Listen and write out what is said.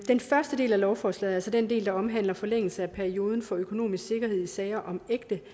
den første del af lovforslaget altså den del der omhandler forlængelse af perioden for økonomisk sikkerhed i sager om